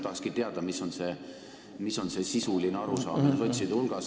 Ma tahakski teada, mis on see sotside sisuline arusaam.